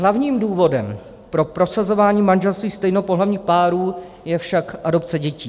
Hlavním důvodem pro prosazování manželství stejnopohlavních párů je však adopce dětí.